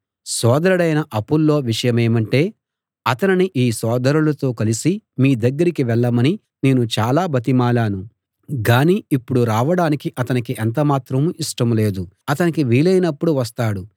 సోదరుడైన Apollo విషయమేమంటే అతనిని ఈ సోదరులతో కలిసి మీ దగ్గరికి వెళ్ళమని నేను చాలా బతిమాలాను గాని ఇప్పుడు రావడానికి అతనికి ఎంతమాత్రం ఇష్టం లేదు అతనికి వీలైనప్పుడు వస్తాడు